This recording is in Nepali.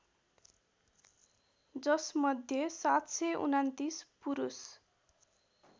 जसमध्ये ७२९ पुरुष